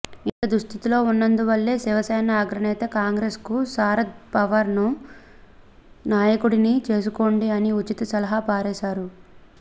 ఇంత దుస్థితిలో ఉన్నందువల్లే శివసేన అగ్రనేత కాంగ్రెస్ కు శరద్ పవార్ను నాయకుడిని చేసుకోండి అని ఉచిత సలహా పారేశారు